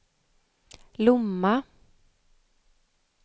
Lomma